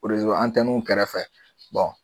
erezo antɛnuw kɛrɛfɛ bɔn